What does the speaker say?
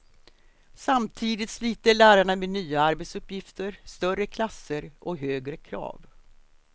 Samtidigt sliter lärarna med nya arbetsuppgifter, större klasser och högre krav.